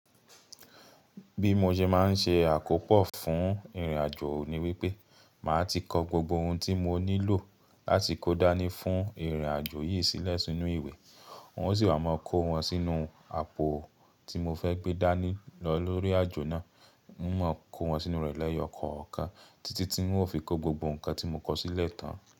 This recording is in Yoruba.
Bí mo ṣe máa ń ṣe àkópọ̀ fún ìrìnàjò ni wípé, màá ti kọ gbogbo ohun tí mo nílò láti kó dání fún ìrìnàjò yìí sílẹ̀ sínú ìwé, oun ó sì wa máa kó wọn sínú àpò tí mo fẹ́ gbé dání lọ lórí àjò náà. Un máa kó wọn sínú rẹ̀ lẹ́yọ̀ kọ̀ọ̀kan títí tí un ó fi kó gbogbo nǹkan tí mo kọ sílẹ̀ tán.